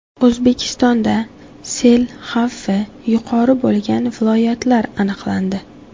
O‘zbekistonda sel xavfi yuqori bo‘lgan viloyatlar aniqlandi.